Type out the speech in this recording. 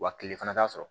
Wa kile fana t'a sɔrɔ